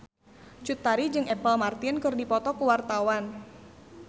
Cut Tari jeung Apple Martin keur dipoto ku wartawan